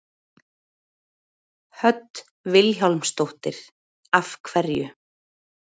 Hödd Vilhjálmsdóttir: Af hverju?